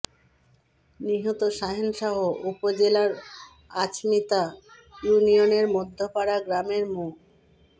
নিহত শাহেন শাহ উপজেলার আচমিতা ইউনিয়নের মধ্যপাড়া গ্রামের মো